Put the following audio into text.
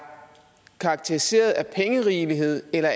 karakteriseret af pengerigelighed eller